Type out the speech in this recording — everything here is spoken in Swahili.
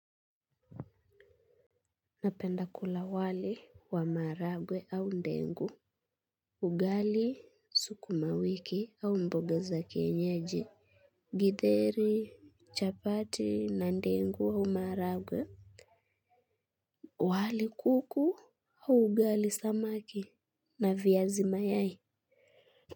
Napenda kula wali wa maharagwe au ndengu. Ugali sukumawiki au mbogua za kienyeji. Githeri chapati na ndengu wa maharagwe. Wali kuku au ugali samaki na viazi mayai Muzika.